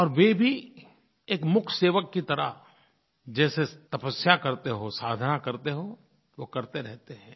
और वे भी एक मूक सेवक की तरह जैसे तपस्या करते हों साधना करते हों वो करते रहते हैं